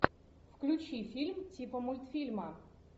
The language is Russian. включи фильм типа мультфильма